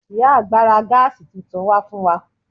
Ìyá àgbà ra Gas tuntun wá fún wa